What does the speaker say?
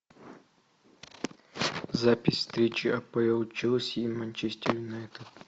запись встречи апл челси и манчестер юнайтед